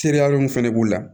Teriya min fɛnɛ b'u la